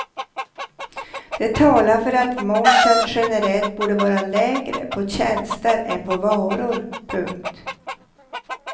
Det talar för att momsen generellt borde vara lägre på tjänster än på varor. punkt